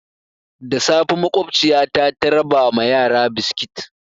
Da safe makwabciyata ta raba ma yara biskit.